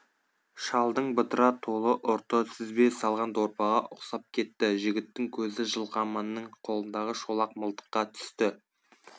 шалдың бытыра толы ұрты сүзбе салған дорбаға ұқсап кетті жігіттің көзі жылқаманның қолындағы шолақ мылтыққа түсті